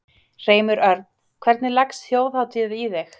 Hreimur Örn, hvernig leggst Þjóðhátíð í þig?